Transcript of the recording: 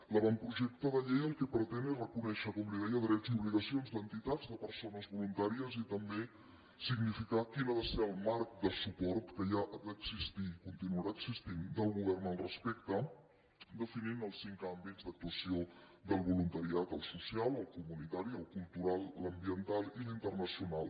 l’avantprojecte de llei el que pretén és reconèixer com li deia drets i obligacions d’entitats de persones voluntàries i també significar quin ha de ser el marc de suport que ha d’existir i continuarà existint del govern respecte a això definint els cinc àmbits d’actuació del voluntariat el social el comunitari el cultural l’ambiental i l’internacional